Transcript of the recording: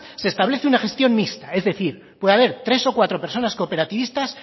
se establece una gestión mixta es decir puede haber tres o cuatro personas cooperativistas